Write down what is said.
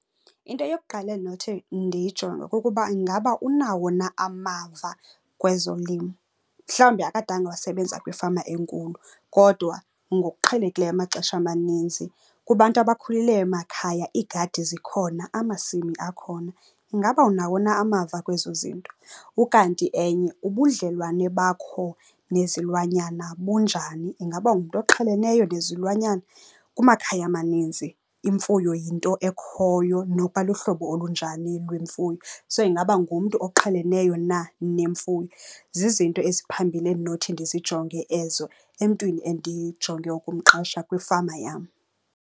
Into yokuqala endinothi ndiyijonge kukuba ingaba unawo na amava kwezolimo. Mhlawumbi akadanga wasebenza kwifama enkulu kodwa ngokuqhelekileyo amaxesha amaninzi kubantu abakhulele emakhaya iigadi zikhona, amasimi akhona. Ingaba unawo na amava kwezo zinto? Ukanti enye ubudlelwane bakho nezilwanyana bunjani? Ingaba ungumntu oqheleneleyo nezilwanyana? Kumakhaya maninzi imfuyo yinto ekhoyo nokuba luhlobo olunjani lwemfuyo. So, ingaba ungumntu oqheleneyo na nemfuyo? Zizinto eziphambili endinothi ndizijonge ezo emntwini endijonge ukumqesha kwifama yam.